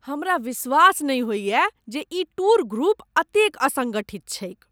हमरा विश्वास नहि होइए जे ई टूर ग्रुप एतेक असंगठित छैक ।